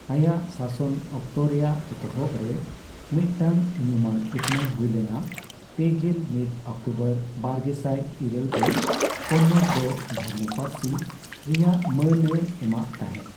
ᱟᱭᱟᱜ ᱥᱟᱥᱚᱱ ᱚᱠᱛᱚ ᱨᱮᱭᱟᱜ ᱮᱛᱚᱦᱚᱵ ᱨᱮ ᱢᱤᱫᱴᱟᱝ ᱧᱩᱢᱟᱱ ᱩᱛᱱᱟᱹᱣ ᱦᱳᱭ ᱞᱮᱱᱟ, ᱯᱮᱜᱮᱞ ᱢᱤᱫ ᱚᱠᱴᱳᱵᱚᱨ ᱵᱟᱨᱜᱮᱥᱟᱭ ᱤᱨᱟᱹᱞ ᱨᱮ, ᱠᱚᱱᱱᱚᱲ ᱫᱚ ᱫᱷᱚᱨᱚᱢ ᱯᱟᱹᱨᱥᱤ ᱨᱮᱭᱟᱜ ᱢᱟᱹᱱᱮ ᱮᱢᱟᱜ ᱛᱟᱦᱮᱸᱫ ᱾